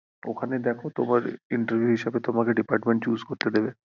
ওখানে দেখো তোমার interview হিসেবে তোমাকে department choose করতে দেবে ।